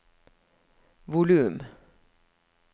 volum